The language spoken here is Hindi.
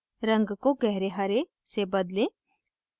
रंग को गहरे हरे से बदलें